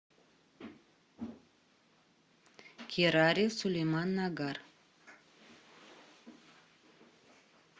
кирари сулеман нагар